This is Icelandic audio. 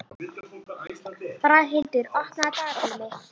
Braghildur, opnaðu dagatalið mitt.